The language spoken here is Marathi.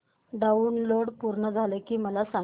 डाऊनलोड पूर्ण झालं की मला सांग